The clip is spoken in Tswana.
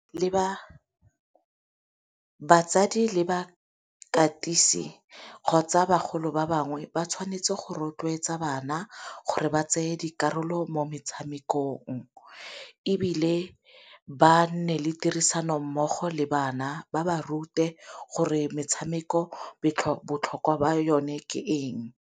Batsadi le bakatisi kgotsa bagolo ba bangwe ba tshwanetse go rotloetsa bana gore ba tseye dikarolo mo metshamekong, ebile ba nne le tirisanommogo le bana ba ba rute gore metshameko botlhokwa ba yone ke eng.